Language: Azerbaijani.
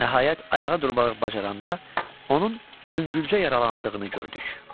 Nəhayət ayağa durmağı bacaranda onun yüngülcə yaralandığını gördük.